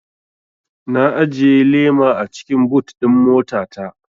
Na ajiye lema a cikin but ɗin mota ta